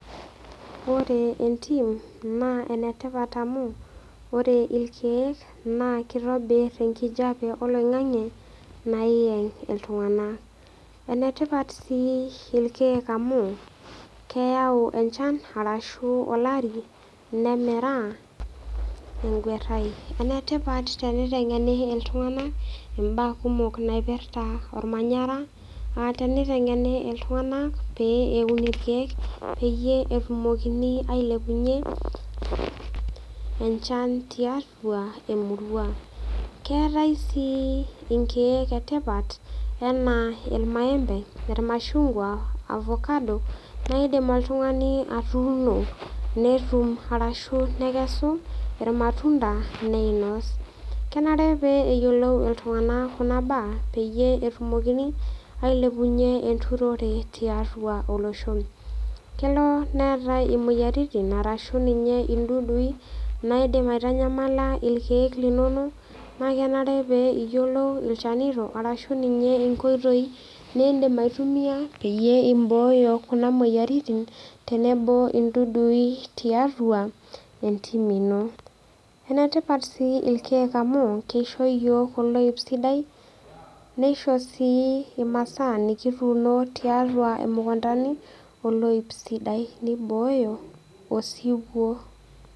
Ore entim naa enetipat amu ore irkeek naa kitobir enkijiape oloingange nayeg iltung'ana enetipat sii ilkeek amu keyau enchan ashu olari nemira eguarai enetipat enkiteng'eni iltung'ana mbaa kumok naipirta ormanyara aa nitengeni iltung'ana lee Eun irkeek peeyie etumokini ailepunye enchan tiatua emurua keetae sii nkeek etipat ena irmaembe, irmashungwa, Ovakado naa edim oltung'ani atunoo nekesu irmatunda neinos kenare pee eyiolou iltung'ana Kuna mbaa pee etumoki ailepunye enturore tiatua olosho kelo netai emoyiaritin ashu ninye dudui naidim aitanyamala irkeek linono naa kenare pee eyiolou ilchanito ashu nkoitoi nidim aitumia pee eboyo Kuna moyiaritin tenebo edudui tiatua entiim ino enetipat sii ilkeek amu kisho iyiok oloip sidai nishop sii emasaa nikituno tiatua emukundani oloip sidai nibooyo osiwuo